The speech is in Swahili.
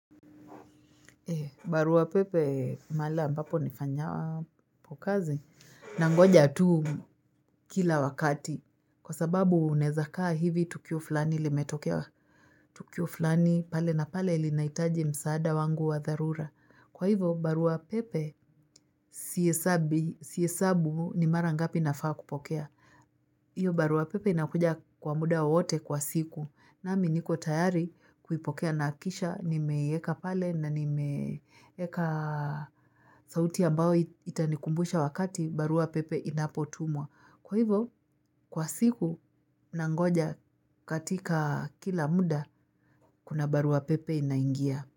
Barua pepe mahala ambapo nifanyapo kazi nangoja tu kila wakati kwa sababu unawezakaa hivi tukio fulani limetokea tukio fulani pale na pale linahitaji msaada wangu wa dharura. Kwa hivyo barua pepe sihesabu ni mara ngapi nafaa kupokea hiyo barua pepe inakuja kwa muda wowote kwa siku. Nami niko tayari kuipokea nakisha, nimeweka pale na nimeiweka sauti ambao itanikumbusha wakati barua pepe inapotumwa. Kwa hivyo, kwa siku nangoja katika kila muda, kuna barua pepe inaingia.